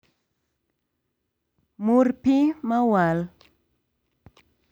Mur pii mawal